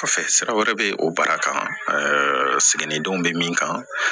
Kɔfɛ sira wɛrɛ bɛ o baara kan ɛɛ seginni denw bɛ min kan